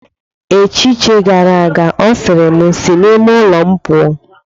Echiche gara aga ọ sịrị, sị n'ime ụlọ m pụọ.